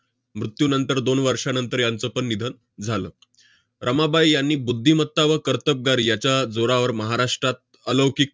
मृत्यूनंतर दोन वर्षानंतर यांचंपण निधन झालं. रमाबाई यांनी बुद्धिमत्ता व कर्तबगारी याच्या जोरावर महाराष्ट्रात अलौकिक